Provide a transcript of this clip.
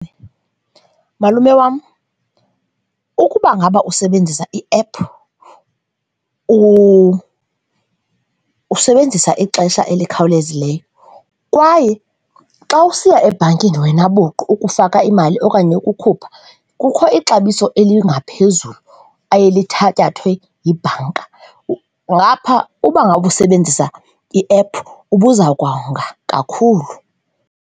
Malume wam, ukuba ngaba usebenzisa iephu, usebenzisa ixesha elikhawulezileyo kwaye xa usiya ebhankini wena buqu ukufaka imali okanye ukukhupha kukho ixabiso elingaphezulu eye lithatyathwe yibhanka, ngapha uba ngaba usebenzisa iephu ubuzokwanga kakhulu.